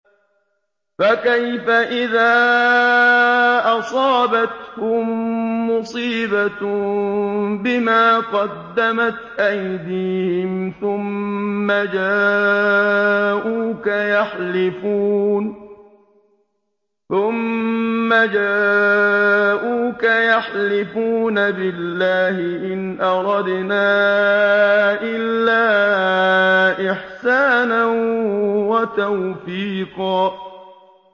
فَكَيْفَ إِذَا أَصَابَتْهُم مُّصِيبَةٌ بِمَا قَدَّمَتْ أَيْدِيهِمْ ثُمَّ جَاءُوكَ يَحْلِفُونَ بِاللَّهِ إِنْ أَرَدْنَا إِلَّا إِحْسَانًا وَتَوْفِيقًا